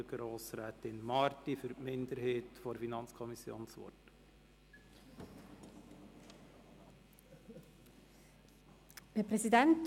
Ich gebe für die Minderheit der FiKo Grossrätin Marti das Wort.